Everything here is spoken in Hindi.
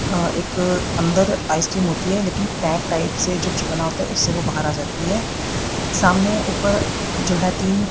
अ एक अंदर आइसक्रीम होती है लेकिन जो टैप टाइप से कुछ बना हुआ होता है उसे वो बाहर आ जाती है सामने ऊपर जो है तीन--